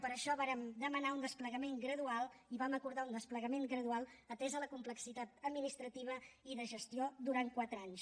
per això vàrem demanar un desplegament gradual i vam acordar un desplegament gradual atesa la complexitat administrativa i de gestió durant quatre anys